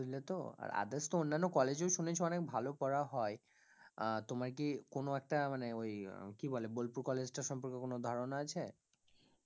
বুঝলে তো আর others তো অন্যান্য college এও শুনেছি অনেক ভালো পড়া হয়, আহ তোমার কি কোন একটা মানে ওই আহ কি বলে বোলপুর college টার সম্পর্কে কোন ধারণা আছে